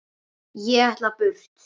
Ég ætla burt.